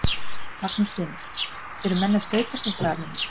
Magnús Hlynur: Eru menn að staupa sig eitthvað almennilega?